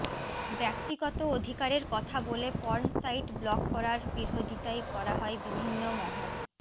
ব্যক্তিগত অধিকারের কথা বলে পর্ন সাইট ব্লক করার বিরোধিতায় করা হয় বিভিন্ন মহল